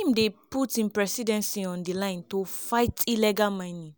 im dey put im presidency on di line to fight illegal mining.